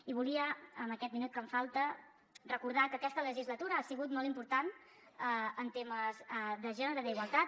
i volia amb aquest minut que em falta recordar que aquesta legislatura ha sigut molt important en temes de gènere d’igualtat